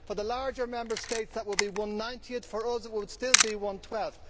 For the larger Member States that will be one ninetieth and for us it would still be one twelfth.